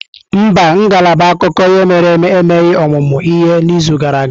Mba, ngalaba akụkọ ihe mere eme emeghị ọmụmụ ihe n'izu gara aga.